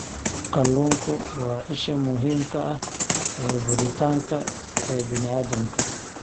Kalluunku waa isha muhiimka ah ee borotiinka ee bini'aadamka.